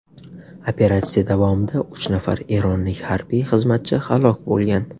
Operatsiya davomida uch nafar eronlik harbiy xizmatchi halok bo‘lgan.